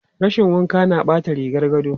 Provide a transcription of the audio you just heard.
Rashin wanka na ɓata rigar gado.